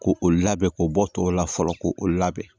Ko o labɛn k'o bɔ tɔw la fɔlɔ ko o labɛn